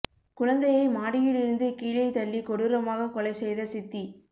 குழந்தையை மாடியில் இருந்து கீழே தள்ளி கொடூரமாக கொலை செய்த சித்தி